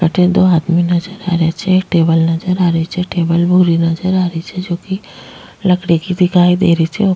अठे दो आदमी नजर आ रहिया छे एक टेबल नजर आ रही छे टेबल भूरी नजर आ रही छे जोकि लकड़ी की दिखाई दे रही छे।